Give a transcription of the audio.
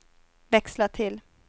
växla till